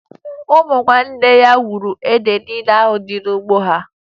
Ụmụnne ya wuru ede niile dị n'ugbo ha